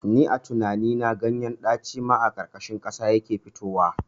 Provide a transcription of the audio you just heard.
Ni a tinani na ganyen ɗaci ma a ƙarƙashin ƙasa yake fitowa